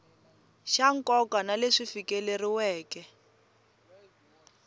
xa nkoka na leswi fikeleriweke